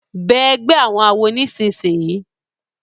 Bẹẹ ègbé àwọn àwo nísìsiyìí!